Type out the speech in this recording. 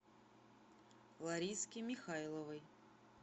лариске михайловой